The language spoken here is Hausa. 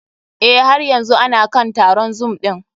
Eh, har yanzu ana kan taron zoom ɗin.